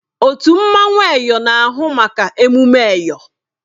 Otu mmanwụ Eyọ na-ahụ maka emume Eyọ.